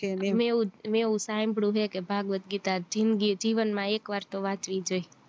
અને એવું મેં એવું સાંભળ્યું હે કે ભાગવત ગીતા જિંદગી જીવન માં એક વાર તો વાંચવી જોઈએ